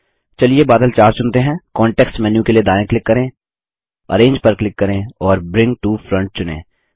चलिए बादल 4 चुनते हैं कॉन्टेक्स्ट मेन्यू के लिए दायाँ क्लिक करें अरेंज पर क्लिक करें और ब्रिंग टो फ्रंट चुनें